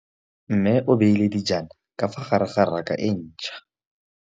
Mmê o beile dijana ka fa gare ga raka e ntšha.